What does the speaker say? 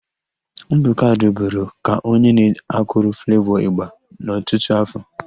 Ndụka ruburu ka onye na-akụrụ Flevọ ị̀gbà n'ọtụtụ áfọ̀.